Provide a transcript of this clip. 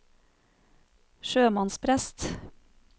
sjømannsprest